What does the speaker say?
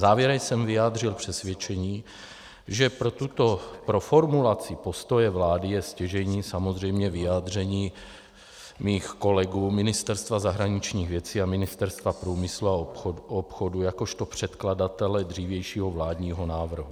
Závěrem jsem vyjádřil přesvědčení, že pro formulaci postoje vlády je stěžejní samozřejmě vyjádření mých kolegů, Ministerstva zahraničních věcí a Ministerstva průmyslu a obchodu jakožto předkladatele dřívějšího vládního návrhu.